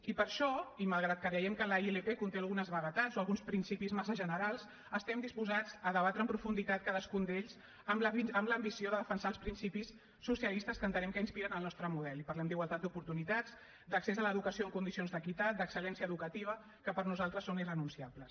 i per això i malgrat que creiem que la ilp conté algunes vaguetats o alguns principis massa generals estem disposats a debatre amb profunditat cadascun d’ells amb l’ambició de defensar els principis socialistes que entenem que inspiren el nostre model i parlem d’igualtat d’oportunitats d’accés a l’educació en condicions d’equitat d’excellència educativa que per nosaltres són irrenunciables